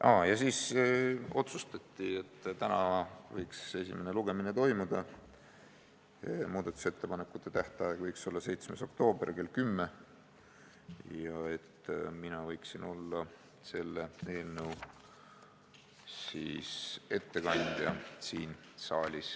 Komisjonis otsustati, et esimene lugemine võiks toimuda täna ja muudatusettepanekute tähtaeg võiks olla 7. oktoober kell 10 ja mina võiksin selle eelnõu siin saalis ette kanda.